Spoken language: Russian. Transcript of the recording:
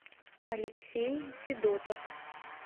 алексей федотов